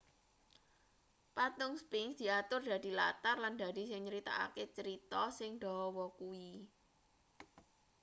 patung sphinx diatur dadi latar lan dadi sing nyeritakake cerita sing dawa kuwi